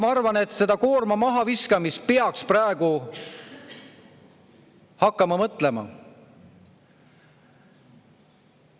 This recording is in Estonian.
Ma arvan, et seda koorma mahaviskamist peaks praegu hakkama mõtlema.